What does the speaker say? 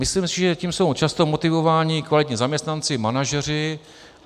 Myslím si, že tím jsou často motivováni kvalitní zaměstnanci, manažeři.